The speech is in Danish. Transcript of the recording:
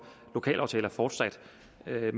at have